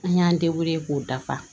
An y'an k'o dafa